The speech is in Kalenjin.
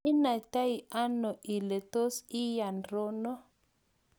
inaitano ile tos iyanRono?